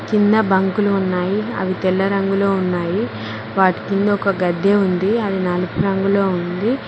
కింద బంకులు ఉన్నాయి అవి తెల్ల రంగులో ఉన్నాయి వాటి కింద ఒక గద్దె ఉంది అది నలుపు రంగులో ఉంది.